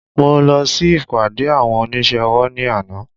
Mo lọ sí ìpàdé àwọn oníṣẹ́ ọwọ́ ní àná